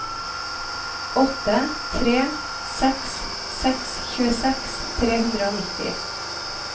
åtte tre seks seks tjueseks tre hundre og nitti